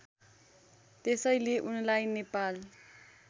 त्यसैले उनलाई नेपाल